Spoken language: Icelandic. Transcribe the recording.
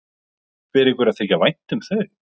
Fer ykkur að þykja vænt um þau?